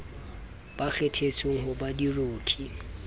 ba kgethetsweng ho ba diroki